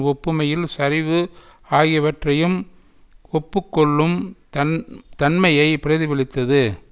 ஒப்புமையில் சரிவு ஆகியவற்றையும் ஒப்பு கொள்ளும் தன் தன்மையை பிரதிபலித்தது